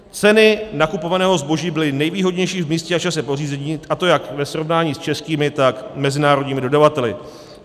Ceny nakupovaného zboží byly nejvýhodnější v místě a čase pořízení, a to jak ve srovnání s českými, tak mezinárodními dodavateli.